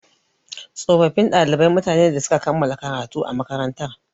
Tsofaffin ɗalibai mutane ne da suka kammala karatu a makarantar.